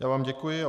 Já vám děkuji.